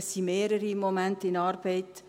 Im Moment sind mehrere in Arbeit.